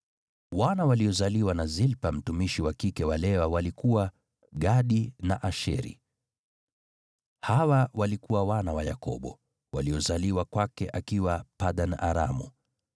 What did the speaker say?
Wana waliozaliwa na Zilpa mtumishi wa kike wa Lea walikuwa: Gadi na Asheri. Hawa walikuwa wana wa Yakobo, waliozaliwa kwake akiwa Padan-Aramu.